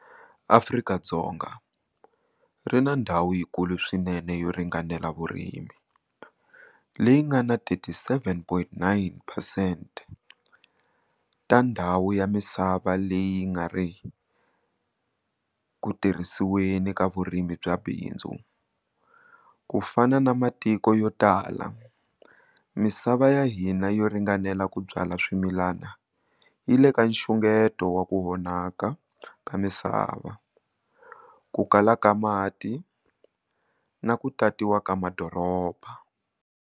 Afrika-Dzonga ri na ndhawu yikulu swinene yo ringanela vurimi, leyi nga na 37,9 percent ta ndhawu ya misava leyi yi nga ri ku tirhiseriweni ka vurimi bya bindzu. Kufana na matiko yo tala, misava ya hina yo ringanela ku byala swimilana yi le ka nxungeto wa ku vonaka ka misava, ku kala ka mati na ku tatiwa ka madoroba.